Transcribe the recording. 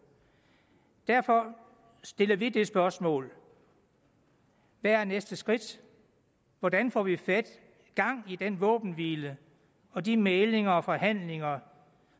derfor stiller vi det spørgsmål hvad er næste skridt hvordan får vi gang i den våbenhvile og de mæglinger og forhandlinger